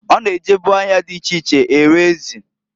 O na-ejebu ahịa di iche iche ere ezi.